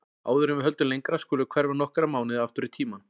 Áður en við höldum lengra skulum við hverfa nokkra mánuði aftur í tímann.